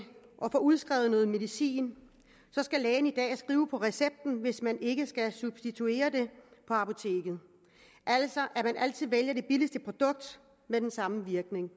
og får udskrevet medicin skal lægen i dag skrive på recepten hvis man ikke skal substituere det på apoteket altså at man altid vælger det billigste produkt med den samme virkning